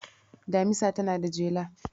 Damisa tana da jela.